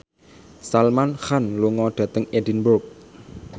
Salman Khan lunga dhateng Edinburgh